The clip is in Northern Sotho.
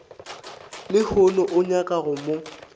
lehono o nyaka go mo